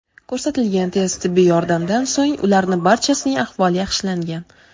Ko‘rsatilgan tez tibbiy yordamdan so‘ng ularni barchasining ahvoli yaxshilangan.